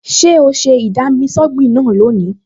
Ṣé o ṣe ì-dami-sọ́gbìn náà lónìí?